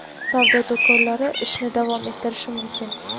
savdo do‘konlari ishni davom ettirishi mumkin.